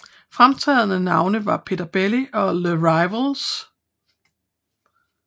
Fremtrædende navne var Peter Belli og Les Rivals